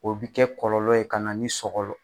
O bɛ kɛ kɔlɔlɔ ye ka na ni sɔgɔlɔ